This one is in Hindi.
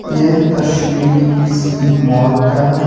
ये तस्वीर किसी मॉल का है।